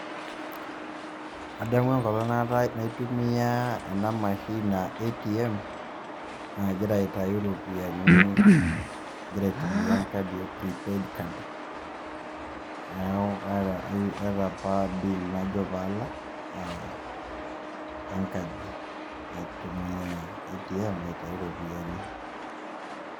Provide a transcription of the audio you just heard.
Adamu enkolong' naitumia ena amashini a ATM ajira aitayu iropiani agira aitumia enkadi e prepaid card neeku aata apa bill najo paalak e nkaji, naitumia ATM aitayu iropiani.